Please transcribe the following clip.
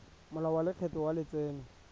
molao wa lekgetho wa letseno